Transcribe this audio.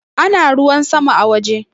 Ana ruwa sama a waje